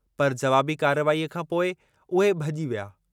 पर, जवाबी कार्रवाईअ खां पोइ उहे भॼी विया।